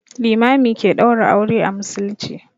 Limami ke ɗaura aure a musulmci.